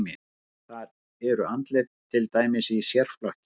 Þar eru andlit til dæmis í sérflokki.